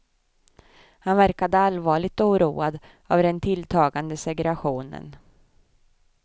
Han verkade allvarligt oroad av den tilltagande segregationen.